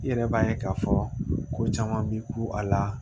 I yɛrɛ b'a ye k'a fɔ ko caman b'i ku a la